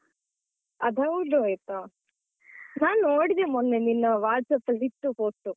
ಅದು ಹೌದು ಆಯ್ತಾ. ನಾನು ನೋಡಿದೆ ಮೊನ್ನೆ ನಿನ್ನ WhatsApp ಅಲ್ಲಿ ಇತ್ತು photo.